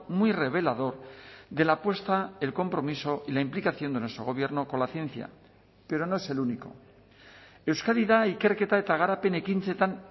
muy revelador de la apuesta el compromiso y la implicación de nuestro gobierno con la ciencia pero no es el único euskadi da ikerketa eta garapen ekintzetan